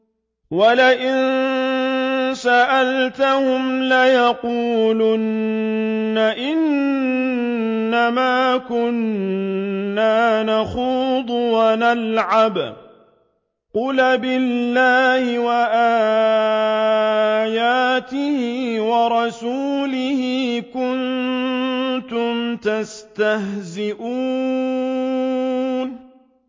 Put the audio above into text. وَلَئِن سَأَلْتَهُمْ لَيَقُولُنَّ إِنَّمَا كُنَّا نَخُوضُ وَنَلْعَبُ ۚ قُلْ أَبِاللَّهِ وَآيَاتِهِ وَرَسُولِهِ كُنتُمْ تَسْتَهْزِئُونَ